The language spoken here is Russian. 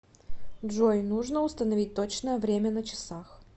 джой нужно установить точное время на часах